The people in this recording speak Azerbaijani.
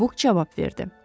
Buk cavab verdi.